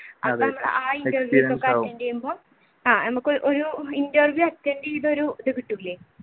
ഒരു interview attend ചെയ്ത ഒരു ഇത് കിട്ടൂലെ